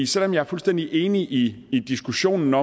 selv om jeg er fuldstændig enig i i diskussionen